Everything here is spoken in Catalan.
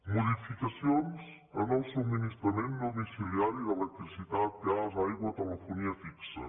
modificacions en el subministrament domiciliari d’electricitat gas aigua telefonia fixa